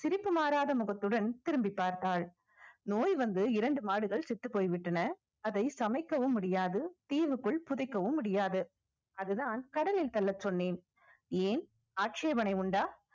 ஆனாலும் சிரிப்பு மாறாத முகத்துடன் திரும்பிப் பார்த்தாள் நோய் வந்து இரண்டு மாடுகள் செத்துப் போய்விட்டன அதை சமைக்கவும் முடியாது தீவுக்குள் புதைக்கவும் முடியாது அதுதான் கடலில் தள்ளச் சொன்னேன் ஏன் உண்டா